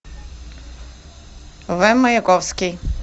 в маяковский